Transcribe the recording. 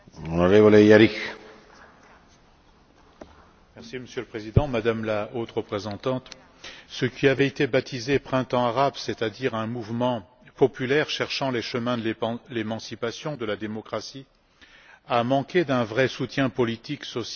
Monsieur le Président, Madame la Haute représentante, ce qui avait été baptisé Printemps arabe, c'est à dire un mouvement populaire cherchant les chemins de l'émancipation et de la démocratie, a manqué d'un vrai soutien politique, social et culturel de la part de nos institutions européennes.